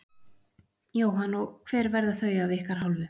Jóhann: Og hver verða þau af ykkar hálfu?